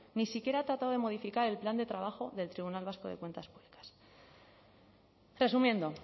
ni siquiera ha tratado de modificar el plan de trabajo del tribunal vasco de cuentas públicas resumiendo